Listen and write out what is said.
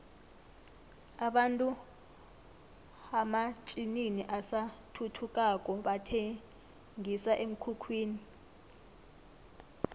abantu hamatjninini asathuthukako bathenqisa emkhukhwini